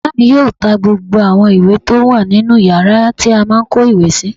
Bàbá mi yóò ta gbogbo àwọn ìwé tó wà nínu yàrá tí a má n kó ìwé sí